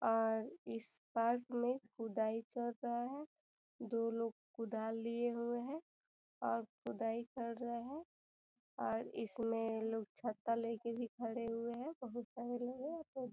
और इस पार्क में खुदाई चल रहा है दो लोग कुदाल लिए हुऐ हैं और खुदाई कर रहे है और इसमें लोग छत्ता लेके भी खड़े हुए है बहुत पहले --